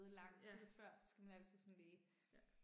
Ja. Ja